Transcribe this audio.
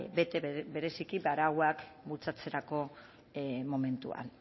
bete bereziki arauak bultzatzerako momentuan